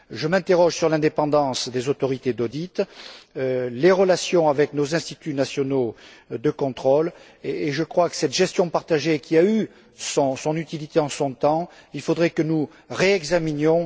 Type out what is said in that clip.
Je m'interroge sur l'indépendance des autorités d'audit, sur les relations avec nos instituts nationaux de contrôle, et je crois que cette gestion partagée qui a eu son utilité en son temps devrait être réexaminée.